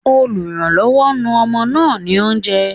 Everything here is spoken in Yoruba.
Olùrànlọ́wọ́, nu ọmọ náà ní oúnjẹ.